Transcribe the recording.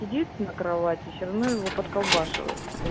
на кровати все равно его под колбасой